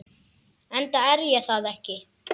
Enda er ég það ekki.